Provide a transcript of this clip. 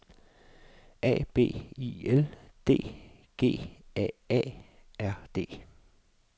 A B I L D G A A R D